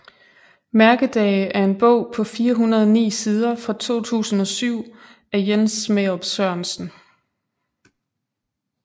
Mærkedage er en bog på 409 sider fra 2007 af Jens Smærup Sørensen